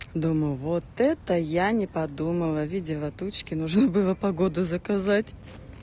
думаю вот это я не подумала видела тучки нужно было погоду заказать